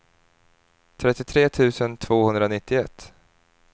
trettiotre tusen tvåhundranittioett